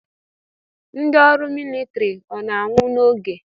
Ndị ọrụ militiri ọ na-anwụ n'oge?